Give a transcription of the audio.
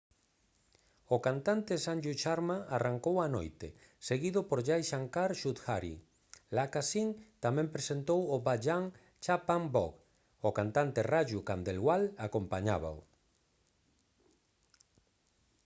o cantante sanju sharma arrancou a noite seguido por jai shankar choudhary. lakkha singh tamén presentou o bhajan «chhappan bhog». o cantante raju khandelwal acompañábao